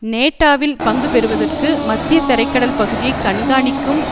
நேட்டேவில் பங்கு பெறுவதற்கு மத்திய தரை கடல் பகுதியை கண்காணிக்கும்